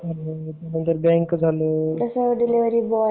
जसं बँक